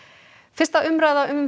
fyrsta umræða um